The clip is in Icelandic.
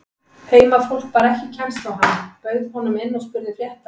Heimafólk bar ekki kennsl á hann, bauð honum inn og spurði frétta.